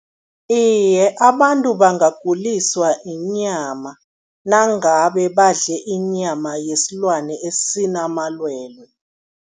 Iye, abantu bangaguliswa yinyama nangabe badle inyama yesilwane esinamalwelwe.